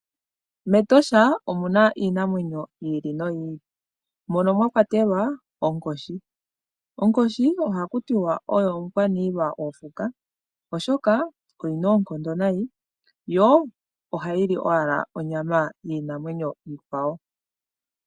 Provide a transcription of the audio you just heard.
MEtosha omuna iinamwenyo yi ili no yi ili. Mwakwatelwa onkoshi. Onkoshi ohaku tiwa oyo omukwaniilwa gokuti oshoka oyina oonkondo nayi yo ohayi li owala onyama yiinamwenyo iikwa wo.